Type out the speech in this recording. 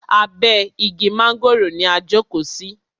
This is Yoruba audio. Abe igi mángòrò ni a jókò sí.